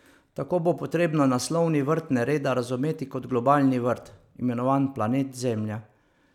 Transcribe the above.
Tako bo potrebno naslovni vrt nereda razumeti kot globalni vrt, imenovan planet Zemlja.